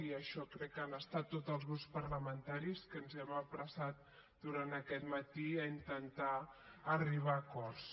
i això crec que han estat tots els grups parlamentaris que ens hem apressat durant aquest matí a intentar arribar a acords